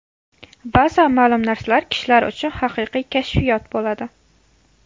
Ba’zan ma’lum narsalar kishilar uchun haqiqiy kashfiyot bo‘ladi.